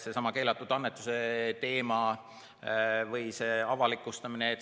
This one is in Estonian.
Seesama keelatud annetuse või avalikustamise teema.